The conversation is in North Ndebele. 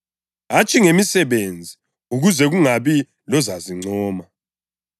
hatshi ngemisebenzi, ukuze kungabi lozazincoma.